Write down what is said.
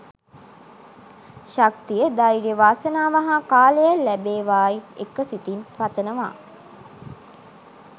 ශක්තිය ධෛර්යය වාසනාව හා කාලය ලැබේවායි එක සිතින් පතනවා